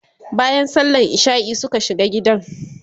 bayan sallan isha'i Suka shiga gidan